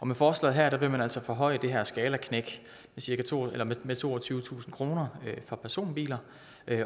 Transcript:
med forslaget her vil man altså forhøje det her skalaknæk med toogtyvetusind kroner for personbiler